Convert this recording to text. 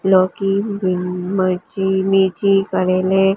लौकी भीन मर्ची मैथी करेले--